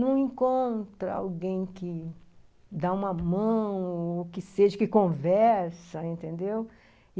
não encontra alguém que dá uma mão, ou que seja, que conversa, entendeu?